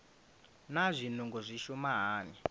naa zwinungo zwi shuma hani